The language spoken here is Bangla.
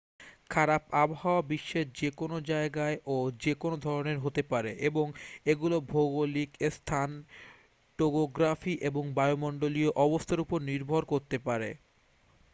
খারাপ আবহাওয়া বিশ্বের যে কোনও জায়গায় ও যে কোন ধরণের হতে পারে এবং এগুলো ভৌগলিক স্থান টোগোগ্রাফি এবং বায়ুমণ্ডলীয় অবস্থার উপর নির্ভর করতে পারে